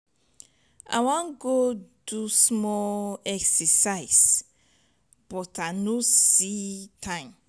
i wan go do small exercise but i no see time.